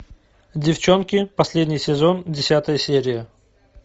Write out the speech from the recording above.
девчонки последний сезон десятая серия